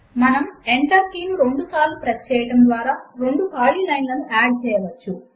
మనము Enter key ను రెండుసార్లు ప్రెస్ చేయడము ద్వారా రెండు ఖాళీ లైన్ లను యాడ్ చేయవచ్చు